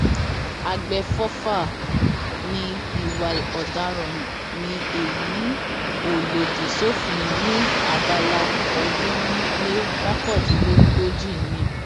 àgbẹfọfà ní ìwà ọdaràn ni èyí ò lòdì sófin ní abala ọọdúnrún lé mọkàndínlógójì ni